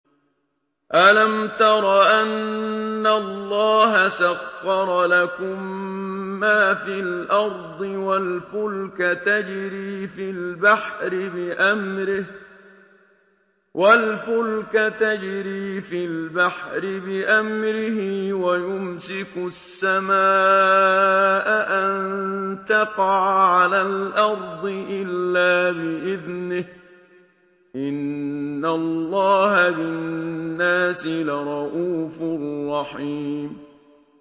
أَلَمْ تَرَ أَنَّ اللَّهَ سَخَّرَ لَكُم مَّا فِي الْأَرْضِ وَالْفُلْكَ تَجْرِي فِي الْبَحْرِ بِأَمْرِهِ وَيُمْسِكُ السَّمَاءَ أَن تَقَعَ عَلَى الْأَرْضِ إِلَّا بِإِذْنِهِ ۗ إِنَّ اللَّهَ بِالنَّاسِ لَرَءُوفٌ رَّحِيمٌ